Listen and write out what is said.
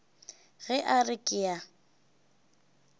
ge a re ke a